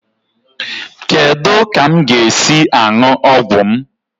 Kedu ka m ga-esi aṅụ ọgwụ m?